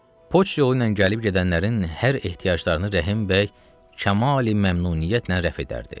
Poçt yolu ilə gəlib gedənlərin hər ehtiyaclarını Rəhimbəy kamali-məmnuniyyətlə rəf edərdi.